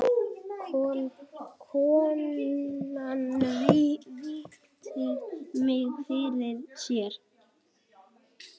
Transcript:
Konan virti mig fyrir sér.